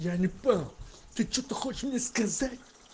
я не понял ты что-то хочешь мне сказать